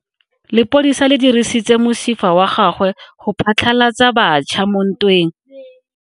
Lepodisa le dirisitse mosifa wa gagwe go phatlalatsa batšha mo ntweng.